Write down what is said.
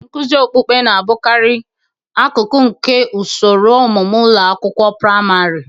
Nkuzi okpukpe na-abụkarị akụkụ nke usoro ọmụmụ ụlọ akwụkwọ praịmarị.